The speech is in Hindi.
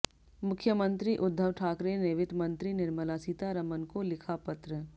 मुख्यमंत्री उद्धव ठाकरे ने वित्त मंत्री निर्मला सीतारमण को लिखा पत्र